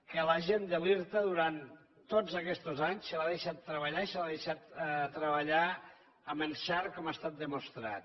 que a la gent de l’irta durant tots aquests anys se l’ha deixat treballar i se l’ha deixat treballar amb encert com ha estat demostrat